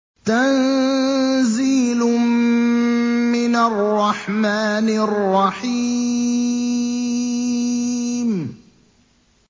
تَنزِيلٌ مِّنَ الرَّحْمَٰنِ الرَّحِيمِ